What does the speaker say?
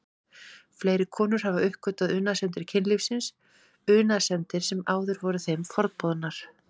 Fleiri konur hafa uppgötvað unaðssemdir kynlífsins, unaðssemdir sem áður voru þeim forboðnar.